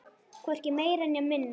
Hvorki meira né minna!